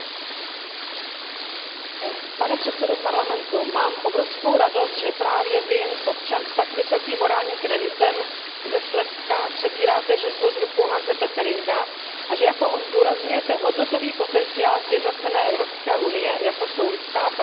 Pane předsedo, mám obrovskou radost, že právě Vy, občan s tak vysokým morálním kreditem, a nadto původem ze Slezska, přebíráte žezlo z rukou Hanse Gerta Pötteringa a že jako on zdůrazňujete hodnotový potenciál sjednocené Evropské unie, jako jsou lidská práva a solidarita mezi národy.